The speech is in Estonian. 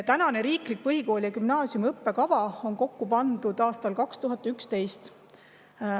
Tänane riiklik põhikooli ja gümnaasiumi õppekava pandi kokku aastal 2011.